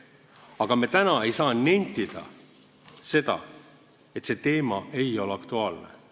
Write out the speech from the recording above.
Aga täna ei saa me nentida, et see teema ei ole aktuaalne.